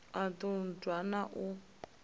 u ṱun ḓwa na u